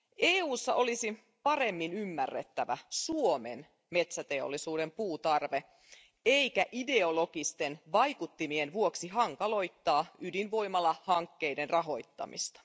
EUssa olisi ymmärrettävä paremmin Suomen metsäteollisuuden puutarve eikä ideologisten vaikuttimien vuoksi hankaloitettava ydinvoimalahankkeiden rahoittamista.